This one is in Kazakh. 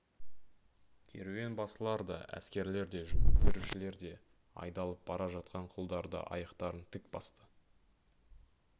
керуенбасылар да әскерлер де жүк көтерушілер де айдалып бара жатқан құлдар да аяқтарын тік басты